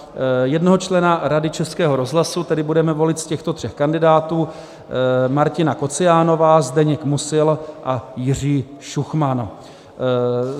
Jednoho člena Rady Českého rozhlasu tedy budeme volit z těchto tří kandidátů: Martina Kociánová, Zdeněk Musil a Jiří Šuchman.